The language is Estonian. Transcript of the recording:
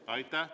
Aitäh!